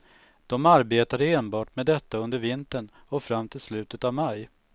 De arbetade enbart med detta under vintern och fram till slutet av maj.